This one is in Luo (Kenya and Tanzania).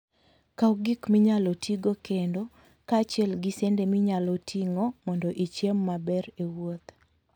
Kaw gik minyalo tigo kendo, kaachiel gi sende minyalo ting'o mondo ichiem maber e wuoth.